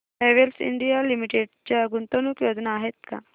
Havells India limited च्या गुंतवणूक योजना आहेत का